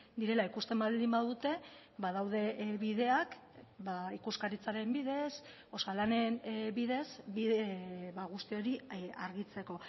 direla ikusten baldin badute badaude bideak ikuskaritzaren bidez osalanen bidez guzti hori argitzeko